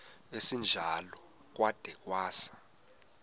esinjalo kwada kwasa